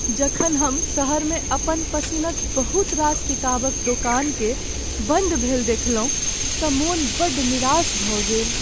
जखन हम सहरमे अपन पसिनक बहुत रास किताबक दोकानकेँ बन्द भेल देखलहुँ तँ मन बड़ निरास भऽ गेल।